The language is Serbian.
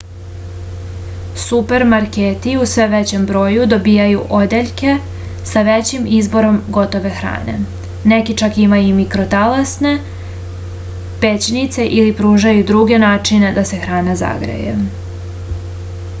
supermarketi u sve većem broju dobijaju odeljke sa većim izborom gotove hrane neki čak imaju i mikrotalasne pećnice ili pružaju druge načine da se hrana zagreje